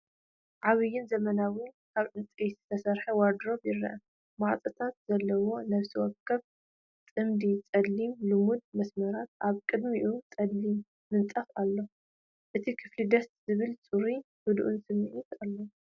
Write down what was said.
ዓብይን ዘመናውን ካብ ዕንጨይቲ ዝተሰርሐ ዋርድሮብ ይርአ። ማዕጾታት ዘለዎ ፣ ነፍሲ ወከፎም ጽምዲ ጸሊም ልሙጽ መስመራት ፣ኣብ ቅድሚኡ ጸሊም ምንጻፍ ኣሎ፡ እቲ ክፍሊ ደስ ዝብል፣ ጽሩይን ህዱእን ስምዒት ኣለዎ።